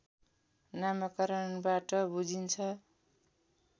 नामाकरणबाट बुझिन्छ